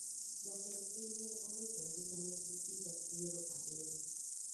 Jatend piny ne owito ngima ne gi iga piero abiryo